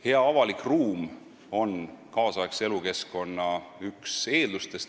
Hea avalik ruum on kaasaegse elukeskkonna üks eeldustest.